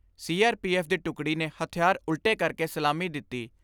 ਸੀ R P F ਦੀ ਟੁਕੜੀ ਨੇ ਹਥਿਆਰ ਉਲਟੇ ਕਰਕੇ ਸਲਾਮੀ ਦਿੱਤੀ।